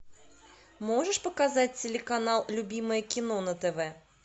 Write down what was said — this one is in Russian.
можешь показать телеканал любимое кино на тв